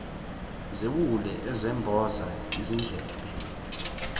zewuli ezemboza izindlebe